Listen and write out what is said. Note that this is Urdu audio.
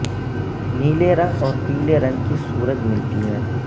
نیلے رنگ اور پیلے رنگ کی سورج ملتی ہے